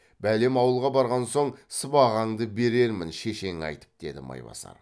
бәлем ауылға барған соң сыбағаңды берермін шешеңе айтып деді майбасар